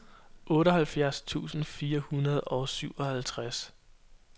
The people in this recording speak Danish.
otteoghalvfjerds tusind fire hundrede og syvoghalvtreds